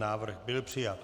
Návrh byl přijat.